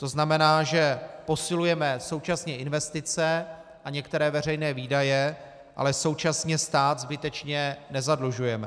To znamená, že posilujeme současně investice a některé veřejné výdaje, ale současně stát zbytečně nezadlužujeme.